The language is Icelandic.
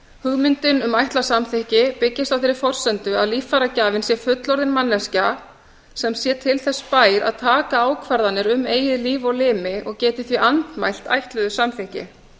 hugmyndin um ætlað samþykki byggist á þeirri forsendu að líffæragjafinn sé fullorðin manneskja sem sé til þess bær að taka ákvarðanir um eigið líf og limi og geti því andmælt ætluðu samþykki